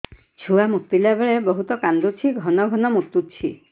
ଛୁଆ ମୁତିଲା ବେଳେ ବହୁତ କାନ୍ଦୁଛି ଘନ ଘନ ମୁତୁଛି